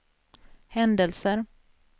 händelser